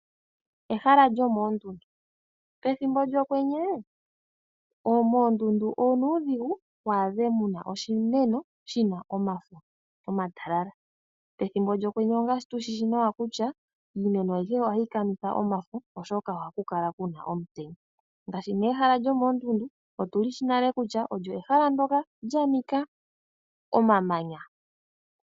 Ehala lyomoondundu. Pethimbo lyOkwenye, moondundu onuudhigu wu adhe mu na oshimeno shi na omafo omatalala. Pethimbo lyOkwenye ongaashi tu shi shi nawa kutya iimeno ayihe ohayi kanitha omafo, oshoka ohaku kala ku na omutenya. Ngaashi ehala lyomoondundu otu li shi nale kutya olyo ehala ndyoka lya nika omamanya.